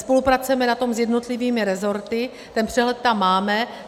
Spolupracujeme na tom s jednotlivými rezorty, ten přehled tam máme.